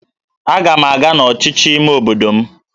Aga m aga n'ọchịchị ime obodo m